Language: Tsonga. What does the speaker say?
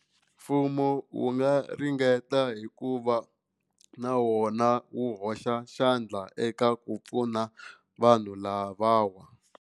Mfumo wu nga ringeta hikuva na wona wu hoxa xandla eka ku pfuna vanhu lavawa.